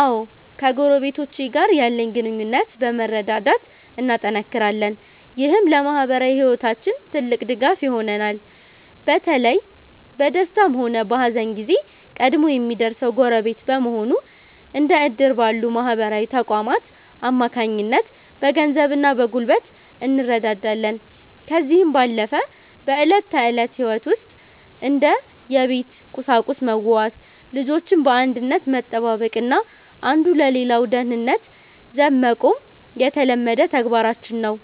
አዎ ከጎረቤቶቼ ጋር ያለን ግንኙነት በመረዳዳት እናጠናክራለን። ይህም ለማኅበራዊ ሕይወታችን ትልቅ ድጋፍ ይሆነናል። በተለይ በደስታም ሆነ በሐዘን ጊዜ ቀድሞ የሚደርሰው ጎረቤት በመሆኑ፤ እንደ ዕድር ባሉ ማኅበራዊ ተቋማት አማካኝነት በገንዘብና በጉልበት እንረዳዳለን። ከዚህም ባለፈ በዕለት ተዕለት ሕይወት ውስጥ እንደ የቤት ቁሳቁስ መዋዋስ፤ ልጆችን በአንድነት መጠባበቅና አንዱ ለሌላው ደህንነት ዘብ መቆም የተለመደ ተግባራችን ነው።